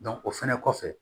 o fɛnɛ kɔfɛ